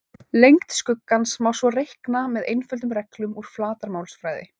Lengd skuggans má svo reikna með einföldum reglum úr flatarmálsfræði.